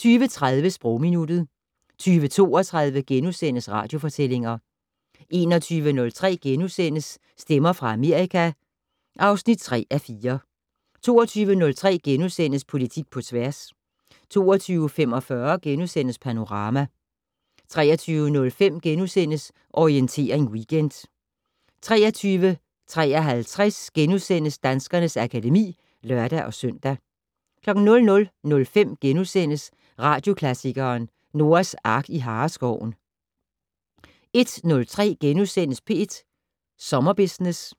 20:30: Sprogminuttet 20:32: Radiofortællinger * 21:03: Stemmer fra Amerika (3:4)* 22:03: Politik på tværs * 22:45: Panorama * 23:05: Orientering Weekend * 23:53: Danskernes akademi *(lør-søn) 00:05: Radioklassikeren: Noahs Ark i Hareskoven * 01:03: P1 Sommerbusiness